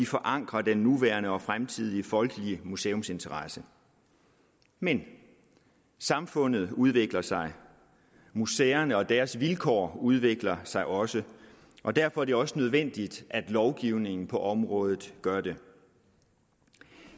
forankrer den nuværende og fremtidige folkelige museumsinteresse men samfundet udvikler sig museerne og deres vilkår udvikler sig også og derfor er det også nødvendigt at lovgivningen på området gør det